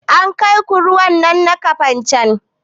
An kai ku ruwan nan na kafancan?